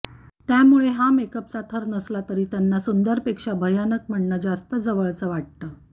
त्यामुळे हा मेकअपचा थर नसला की त्यांना सुंदरपेक्षा भयानक म्हणणं जास्त जवळच वाटतं